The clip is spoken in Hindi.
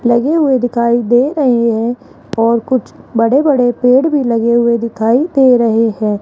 लगे हुए दिखाई दे रहे हैं और कुछ बड़े बड़े पेड़ भी लगे हुए दिखाई दे रहे हैं।